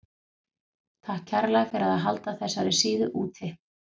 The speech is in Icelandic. Takk kærlega fyrir að halda þessari síðu úti.